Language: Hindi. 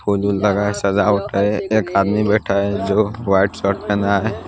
फूल वूल लगा है सजावट है एक आदमी बैठा है जो व्हाइट शर्ट पहना है।